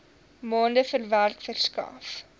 maande werk verskaf